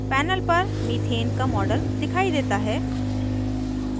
panel पर methane का model दिखाई देता है